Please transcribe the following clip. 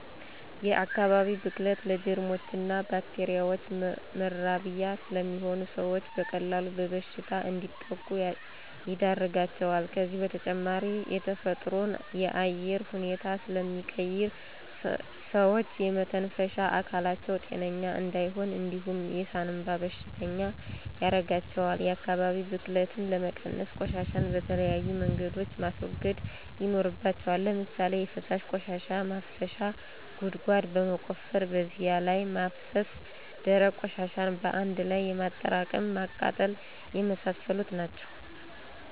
የአካባቢ ብክለት ለጀርሞችና ባክቴሪያዎች መራቢያ ስለሚሆን ሰዎች በቀላሉ በበሽታ እንዲጠቁ ያደርጋቸዋል ከዚህ በተጨማሪ የተፈጥሮን የአየር ሁኔታ ስለሚቀይር ሰዎች የመተንፈሻ አካላቸው ጤነኛ እንዳይሆን እንዲሁም የሳንባ በሽተኛ ያርጋቸዋል። የአካባቢ ብክለትን ለመቀነስ፦ ቆሻሻን በተለያዩ መንገድ ማስወገድ ይኖርባቸዋል። ለምሳሌ የፈሳሽ ቆሻሻ ማፋሰሻ ጉድጓድ በመቆፈር በዚያ ላይ ማፋሰስ፣ ደረቅ ቆሻሻን በአንድ ላይ በማጠራቀም ማቃጠል የመሳሰሉት ናቸው